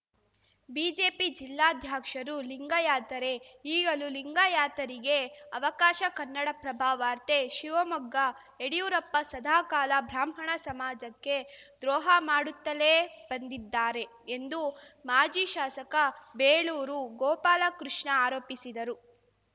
BJP ಜಿಲ್ಲಾಧ್ಯಕ್ಷರೂ ಲಿಂಗಾಯತರೇ ಈಗಲೂ ಲಿಂಗಾಯತರಿಗೇ ಅವಕಾಶ ಕನ್ನಡಪ್ರಭ ವಾರ್ತೆ ಶಿವಮೊಗ್ಗ ಯಡಿಯೂರಪ್ಪ ಸದಾ ಕಾಲ ಬ್ರಾಹ್ಮಣ ಸಮಾಜಕ್ಕೆ ದ್ರೋಹ ಮಾಡುತ್ತಲೇ ಬಂದಿದ್ದಾರೆ ಎಂದು ಮಾಜಿ ಶಾಸಕ ಬೇಳೂರು ಗೋಪಾಲಕೃಷ್ಣ ಆರೋಪಿಸಿದರು